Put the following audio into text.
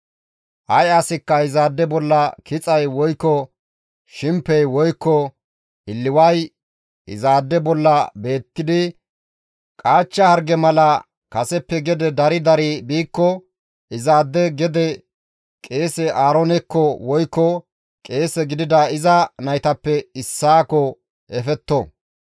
«Ay asikka izaade bolla kixay woykko shimpey woykko illiway izaade bolla beettidi qaachcha harge mala kaseppe gede dari dari biikko izaade gede qeese Aaroonekko woykko qeese gidida iza naytappe issaakko efetto.